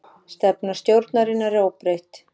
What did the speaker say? Stefna stjórnarinnar óbreytt